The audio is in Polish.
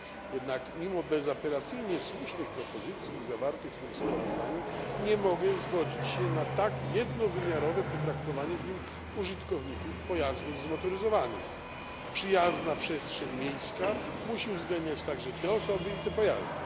Jednak mimo bezapelacyjnie słusznych propozycji zawartych w tym sprawozdaniu nie mogę zgodzić się na tak jednowymiarowe potraktowanie w nim użytkowników pojazdów zmotoryzowanych przyjazna przestrzeń miejska musi uwzględniać także te osoby i te pojazdy.